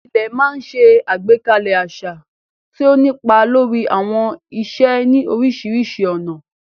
Ilẹ̀ máa ń ṣe àgbékalẹ̀ àṣà, tí ó ń nípa lórí àwọn ìṣe ní oríṣiríṣi ọ̀nà.